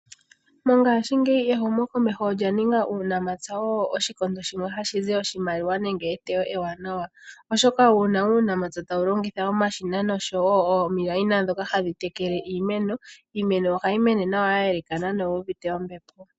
Mongaashingeyi ehumo komeho olya ninga uunamapya owo oshikondo shimwe hashi zi eteyo ewanawa. Oshoka ngele uunamapya tawu longitha omashina nosho woo omikweyo ndhoka hadhi tekele iimeno, iimeno ohayi mene nawa ya elekana na oyuuvite ombepo.